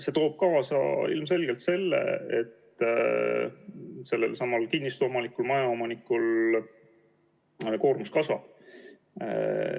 See toob kaasa selle, et kinnistuomaniku, majaomaniku koormus kasvab.